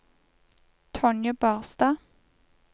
Tonje Barstad